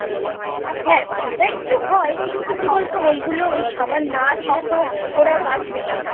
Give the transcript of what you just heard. হ্যাঁ সেটা একটু হয় কিন্তু কি বলতো ওই গুলো খাবার না দিলে তো ওরা বাঁচবে না